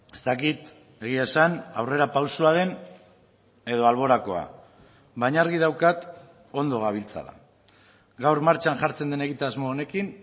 ez dakit egia esan aurrerapausoa den edo alborakoa baina argi daukat ondo gabiltzala gaur martxan jartzen den egitasmo honekin